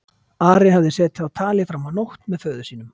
Ari hafði setið á tali fram á nótt með föður sínum.